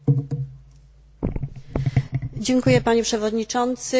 Panie Przewodniczący, Pani Komisarz, Pani Minister!